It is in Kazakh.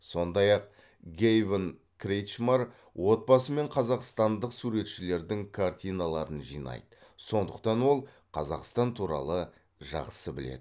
сондай ақ гэйвин кретчмар отбасымен қазақстандық суретшілердің картиналарын жинайды сондықтан ол қазақстан туралы жақсы біледі